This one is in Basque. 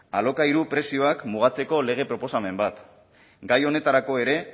alokairu prezioak mugatzeko lege proposamen bat gai honetarako ere